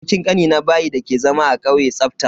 Abokin Kanina bayi dake zama a kauye tsafta.